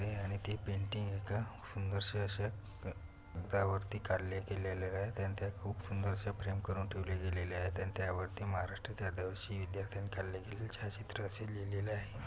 आणि ते पेंटिंग एका सुंदरशा अश्या कागदावरती काढले गेलेल्या आहेत आणि त्या खूप सुंदर अस फ्रेम करून ठेवल्या गेलेल्या आहेत आणि त्यावरती महराष्ट्रातील आदिवासी विद्यार्थ्यांनी काढले गेलेले छायाचित्र असे लिहलेले आहे.